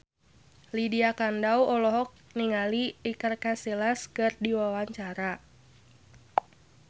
Lydia Kandou olohok ningali Iker Casillas keur diwawancara